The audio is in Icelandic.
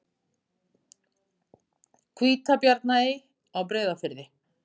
Hvítabjarnarey á Breiðafirði.